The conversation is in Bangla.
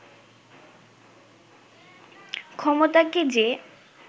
ক্ষমতাকে যে